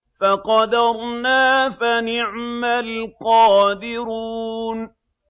فَقَدَرْنَا فَنِعْمَ الْقَادِرُونَ